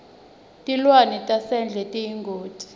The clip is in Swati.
tilwane tasendle tiyingoti